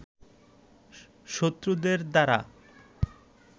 শত্রুদের দ্বারা